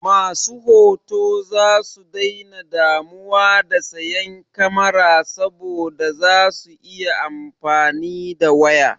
Masu hoto zasu daina damuwa da sayan kamara saboda za su iya amfani da waya.